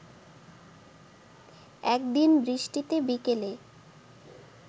একদিন বৃষ্টিতে বিকেলে